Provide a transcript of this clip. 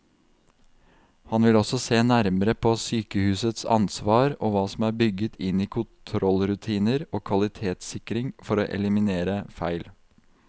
Han vil også se nærmere på sykehusets ansvar og hva som er bygget inn i kontrollrutiner og kvalitetssikring for å eliminere feil.